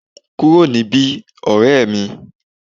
Ku ro ni bi, orẹ́ mi!